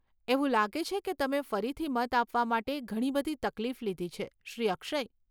એવું લાગે છે કે તમે ફરીથી મત આપવા માટે ઘણી બધી તકલીફ લીધી છે, શ્રી અક્ષય.